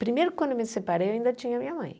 Primeiro, quando eu me separei, eu ainda tinha minha mãe.